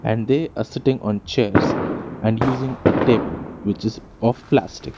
And they are sitting on chairs and using a table which is puff plastic.